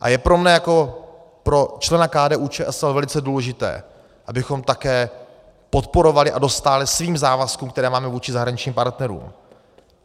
A je pro mne jako pro člena KDU-ČSL velice důležité, abychom také podporovali a dostáli svým závazkům, které máme vůči zahraničním partnerům.